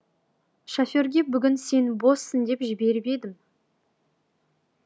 шоферге бүгін сен боссын деп жіберіп едім